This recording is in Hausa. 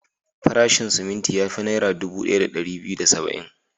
Farashin siminti ya fi Naira dubu ɗaya da ɗari biyu da saba'in.